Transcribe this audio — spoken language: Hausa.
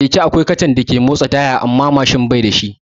A keke akwai kacan da yake motsa tayar baya amma Mashin bai da shi